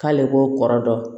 K'ale ko kɔrɔ dɔn